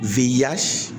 yɛrɛ